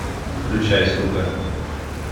включай сука